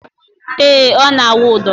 Ee, ọ na - awụ ụdọ